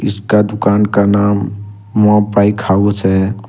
इसका दुकान का नाम मो बाइक हाउस है।